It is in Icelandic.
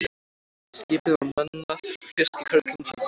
Skipið var mannað fiskikörlum hans.